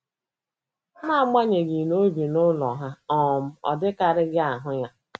Na agbanyeghị na o bi n'ụlọ ha, um ọdịkarịghị ahụ ya.